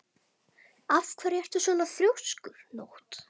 Af hverju ertu svona þrjóskur, Nótt?